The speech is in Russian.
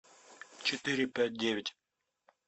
четыре пять девять